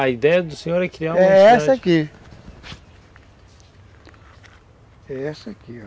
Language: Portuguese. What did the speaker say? A ideia do senhor é criar uma entidade... É essa aqui. É essa aqui, ó.